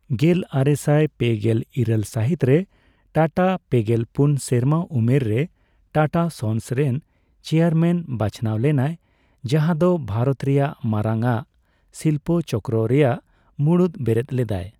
ᱜᱮᱞᱟᱨᱮᱥᱟᱭ ᱯᱮᱜᱮᱞ ᱤᱨᱟᱹᱞ ᱥᱟᱹᱦᱤᱛ ᱨᱮ, ᱴᱟᱴᱟ ᱯᱮᱜᱮᱞ ᱯᱩᱱ ᱥᱮᱨᱢᱟ ᱩᱢᱮᱨ ᱨᱮ ᱴᱟᱴᱟ ᱥᱚᱱᱥ ᱨᱮᱱ ᱪᱮᱭᱟᱨᱢᱮᱱ ᱵᱟᱪᱷᱱᱟᱣ ᱞᱮᱱᱟᱭ ᱡᱟᱦᱟᱸ ᱫᱚ ᱵᱷᱟᱨᱚᱛ ᱨᱮᱭᱟᱜ ᱢᱟᱨᱟᱝ ᱟᱜ ᱥᱤᱞᱯᱚ ᱪᱚᱠᱨᱚ ᱨᱮᱭᱟᱜ ᱢᱩᱬᱩᱫ ᱵᱮᱨᱮᱫ ᱞᱮᱫᱟᱭ ᱾